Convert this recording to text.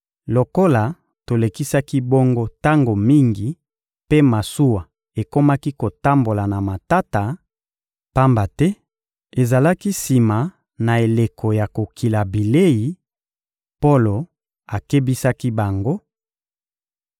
Lokola tolekisaki bongo tango mingi mpe masuwa ekomaki kotambola na matata, pamba te ezalaki sima na eleko ya kokila bilei, Polo akebisaki bango: